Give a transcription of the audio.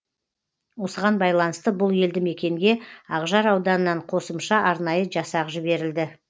осыған байланысты бұл елді мекенге ақжар ауданынан қосымша арнайы жасақ жіберілді